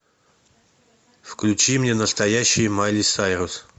включи мне настоящая майли сайрус